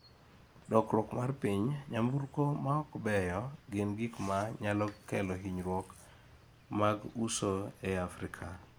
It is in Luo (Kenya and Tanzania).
Lokruok mar piny: ‘Nyamburko ma ok beyo gin gik ma nyalo kelo hinyruok’ ma uso e Afrika